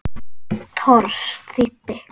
Thors þýddi.